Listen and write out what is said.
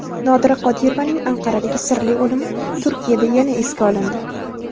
Nodira Qodirovaning Anqaradagi sirli o‘limi Turkiyada yana esga olindi.